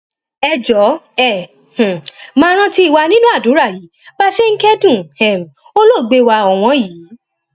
ẹ jọọ ẹ um máa rántí wa nínú àdúrà yín bá a ṣe ń kẹdùn um olóògbé wa ọwọn yìí